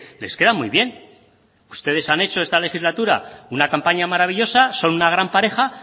les queda muy bien ustedes han hecho en esta legislatura una campaña maravillosa son una gran pareja